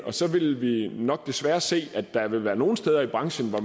så ville vi nok desværre se at der ville være nogle steder i branchen hvor